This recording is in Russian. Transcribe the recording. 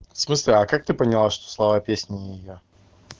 в смысле а как ты поняла что слова песни не её